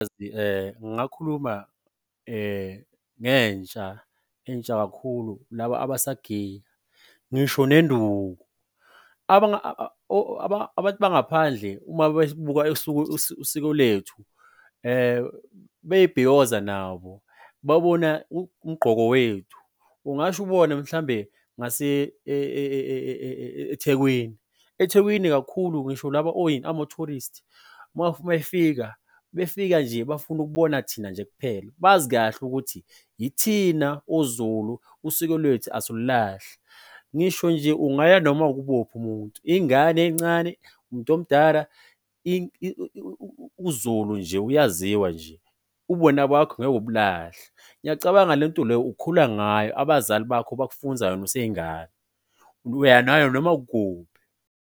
Ngingakhuluma nentsha intsha kakhulu, laba abasagiya, ngisho nenduku. Abantu bangaphandle uma besibuka usiko lethu bebhiyoza nabo babona umgqoko wethu, ungasho ubone ukuthi mhlawumbe ngase eThekwini kakhulu, ngisho laba oyini? Ama-tourist, uma efika, befika nje bafuna ukubona thina nje kuphela. Bazi kahle ukuthi ithina oZulu, usiko lwethu asilulahli. Ngisho nje ungaya noma umuntu ingane encane, umuntu omdala uZulu nje uyaziwa nje. Ubuwena bakho ngeke ubulahle. Ngiyacabanga lento le ukhula ngayo, abazali bakho bakufunza yona useyingane, uya nayo noma ikuphi.